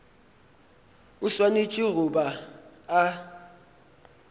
o swanetše go ba a